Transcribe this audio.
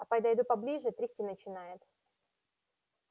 а подойду поближе трясти начинает